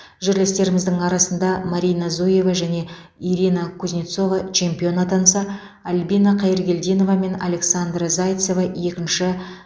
жерлестеріміздің арасында марина зуева және ирина кузнецова чемпион атанса альбина хайыргелдинова мен александра зайцева екінші